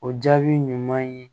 O jaabi ɲuman ye